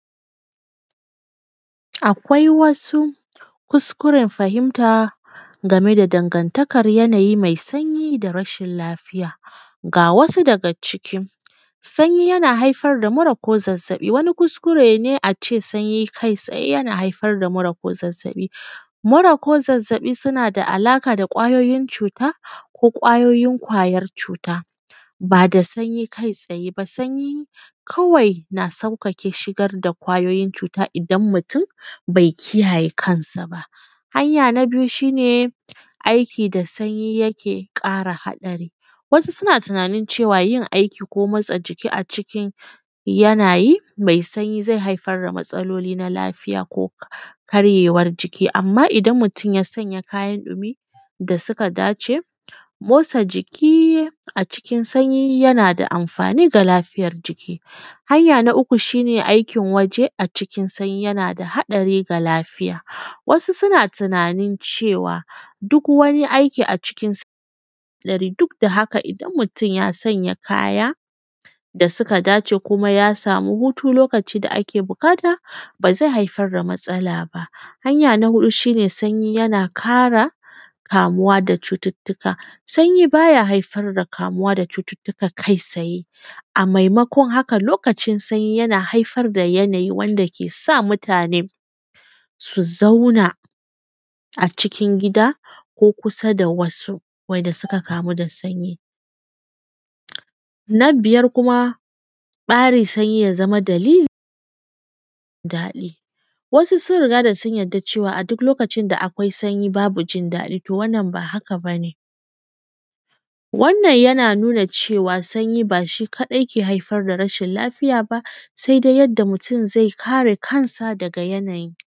Akwai wasu kuskuren fahimta dan gane da danganttakan yanayi mai sanyi da rashin lafiya. ga wasu daga ciki, sanyi yana haifar da mura ko zazzaɓi kuskure ne ace sanyi kai tsaye yana haifar da mura ko zazzaɓi. mura ko zazzaɓi sunada a laƙa da kwayoyin cuta ko kwayoyin kwayar cuta, bada sanyi kai tsaye ba sanyi kawai na sauƙaƙe shigar da kwayoyin cuta ne idan mutun bai kiyaye kansa ba. hanya ta biyu shine aiki da sanyi yake ƙara haɗari wasu suna tunanin cewa yin aiki ko motsa jiki a cikin yanayi mai sanyi zai haifar da matsaloli na lafiya ko karyewar jiki. Amma idan mutun ya sanyan kayan ɗumi da suka dace motsa jiki a cikin sanyi yanada amfani da lafiyar jiki. Hanyar na uku shine aikin waje a cikin sanyi yanada haɗari ga lafiya wasu suna tunanin cewa duk wani aiki a cikin gari duk da haka ya sanya kaya da suka dace kuma ya sami hutu lokaci da ake buƙata bazai hafar da matsala ba. Hanya na huɗu shine sanya yana ƙara kamuwa da cututtuttuka sanyi baya haifar da kamuwa da cututtutka kai tsaye, mai makon haka lokacin sanyi yana haifar da yanayi wanda kesa mutane su zauna a cikin gida ko kusa da wasu wanda suka kamu da sanyi. Na biyar kuma tsarin sanyi ya zama dalilin daɗi wasu sun rigada sunyarda cewa a duk lokacin da akwai sanyi babu jin daɗi wannan bah aka bane wannan yana cewa sanyi bashi kaɗai ke haifar da rashin lafiya ba saidai yadda mutun zai kare kansa daga yanayi.